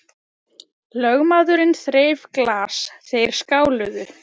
Lögmaðurinn þreif glas, þeir skáluðu.